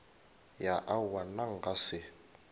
ya aowa nna nka se